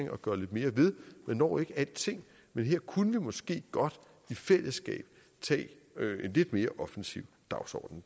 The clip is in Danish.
at gøre lidt mere ved man når ikke alting men her kunne vi måske godt i fællesskab tage en lidt mere offensiv dagsorden